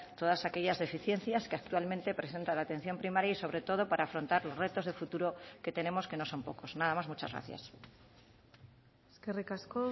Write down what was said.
todas aquellas deficiencias que actualmente presenta la atención primaria y sobre todo para afrontar los retos de futuro que tenemos que no son pocos nada más muchas gracias eskerrik asko